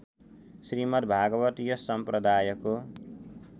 श्रीमद्‌भागवत यस सम्प्रदायको